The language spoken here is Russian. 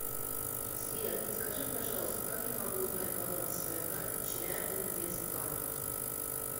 сбер подскажи пожалуйста как я могу узнать баланс своей карты челябинвест банк